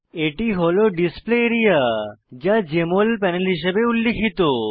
এটি হল display area যা জেএমএল প্যানেল হিসাবে উল্লিখিত